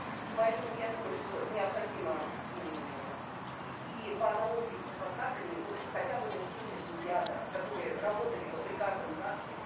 и поэтому я думаю что необходимо ммм и и по аналогии с адвокатами вот хотя бы на семейных медиаторах которые работали бы при каждом загсе